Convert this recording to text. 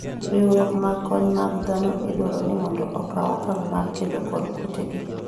riwruoge mag kony mag dhano idwaro ni mondo okaw okang mar kedo kod kute gi